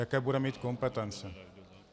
Jaké bude mít kompetence.